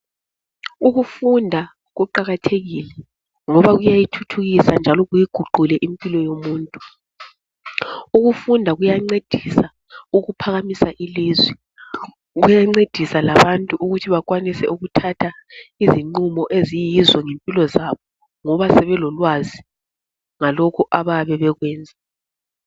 Ukufunda kuqakathekile ngoba kuyayithuthukisa njalo kuyiguqule impilo yomuntu. Ukufunda kuyancedisa ukuphakamisa ilizwe. Kuyancedisa labantu ukuthi bakwanise ukuthatha izinqumo eziyizo ngempilo zabo ngoba sebelolwazi ngalokho abayabe bekwenza.